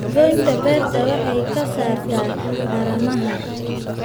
Goynta beerta waxay ka saartaa haramaha.